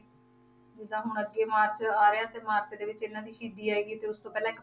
ਜਿੱਦਾਂ ਹੁਣ ਅੱਗੇ ਮਾਰਚ ਆ ਰਿਹਾ ਤੇ ਮਾਰਚ ਦੇ ਵਿਚ ਇਹਨਾਂ ਦੀ ਸ਼ਹੀਦੀ ਆਏਗੀ ਤੇ ਉਸ ਤੋਂ ਪਹਿਲਾਂ ਇੱਕ